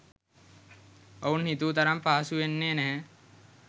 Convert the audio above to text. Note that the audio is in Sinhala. ඔවුන් හිතූ තරම් පහසුවන්නේ නැහැ.